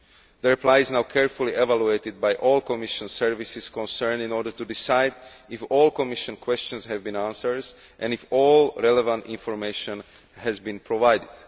The reply is now being carefully evaluated by all the Commission services concerned in order to decide if all the Commission questions have been answered and if all relevant information has been provided.